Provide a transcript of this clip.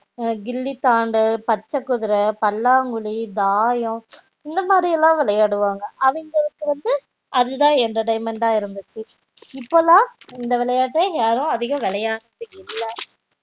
கில்லித்தாண்டு பச்சைகுதிர பல்லாம் குழி தாயம் இந்த மாறி எல்லாம் விளையாடுவாங்க அவங்களுக்கு அதுதான் entertainment அஹ இருந்துச்சு இப்போலாம் இந்த விளையாட்ட யாரும் அதிங்கம் விளையாடுறது இல்லை